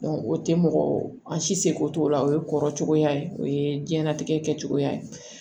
o tɛ mɔgɔ an si se ko t'o la o ye kɔrɔcogoya ye o ye diɲɛlatigɛ kɛcogoya ye